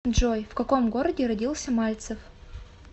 джой в каком городе родился мальцев